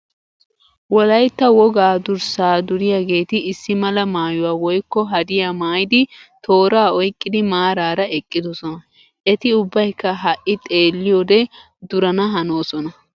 Wolayitta wogaa durssaa duriyaageeti issi mala maayyuwaa woyikko hadiyaa maayidi tooraa oyiqqidi maaraara eqqidosona. Eti ubbayikka ha'i xeelliyoode durana hanoosona.